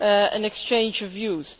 an exchange of views.